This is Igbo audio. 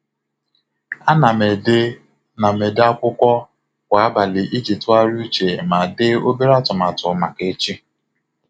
A na m ede na m ede akwụkwọ akụkọ kwa abalị iji tụgharịa uche ma dee obere atụmatụ maka echi.